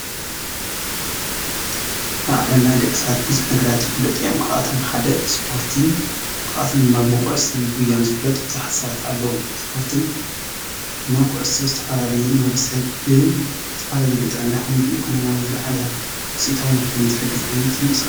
ኣብ ዓለምና ደቂ ሰባት ብዙሕ ነገራት ይፍለጡ እዮም። ካብኣቶም ሓደ ስፖርቲ ካብኣቶም ድማ ብብኩዕሶን ጉያን ዝፍለጡ ብዙሓት ሰባት አለዉ። ስፖርትን እና ኩዕሶ ዝተፈላለዩ ንወዲሰብ ብዝተፈላለዩ ብጥዕና ይኩን በኢኮኖምያዊ ዝለዓለ ውፂኢታውን ንክኮኑ ዝሕግዝ ዓይነት ምንቅስቃስ።